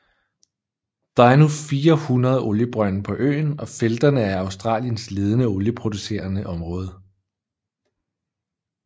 Der er nu 400 oliebrønde på øen og felterne er Australiens ledende olieproducerende område